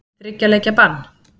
Þriggja leikja bann?